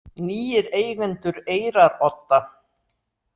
Nýir eigendur Eyrarodda